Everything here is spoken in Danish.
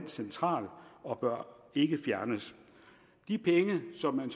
central og bør ikke fjernes de penge som man